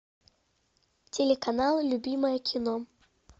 телеканал любимое кино